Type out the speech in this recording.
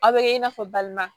Aw bɛ kɛ i n'a fɔ balima